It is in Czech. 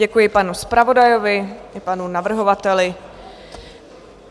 Děkuji panu zpravodaji, panu navrhovateli.